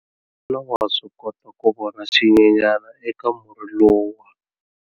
Xana wa swi kota ku vona xinyenyana eka murhi lowuya?